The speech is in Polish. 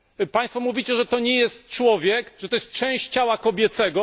Państwo mówicie, że to nie jest człowiek, że to jest część ciała kobiecego.